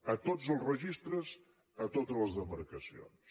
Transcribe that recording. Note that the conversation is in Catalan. a tots els registres a totes les demarcacions